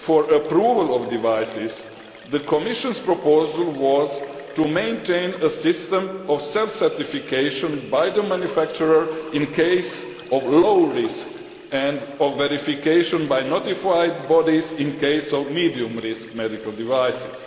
for the approval of devices, the Commission's proposal was to maintain a system of self certification by the manufacturer in the case of low risk and of verification by notified bodies in the case of medium risk medical devices.